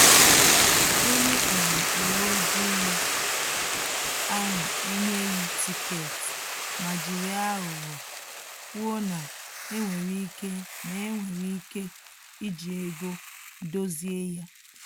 Onye um uwe ojii ahụ enyeghi tiketi ma jiri aghụghọ kwuo na enwere ike na enwere ike iji ego dozie ya